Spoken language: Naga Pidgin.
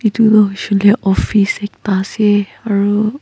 edu toh hoishey koilae office ekta ase aru.